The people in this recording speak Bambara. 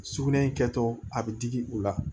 Sugunɛ in kɛtɔ a bɛ digi u la